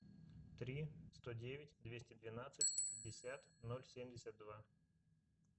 три сто девять двести двенадцать пятьдесят ноль семьдесят два